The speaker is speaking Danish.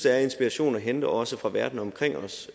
er inspiration at hente også fra verden omkring os